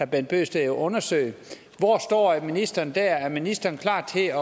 bent bøgsted jo undersøge hvor står ministeren der er ministeren klar til